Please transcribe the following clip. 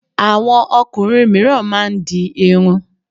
Àwọn ọkùnrin mìíràn máá ń di irun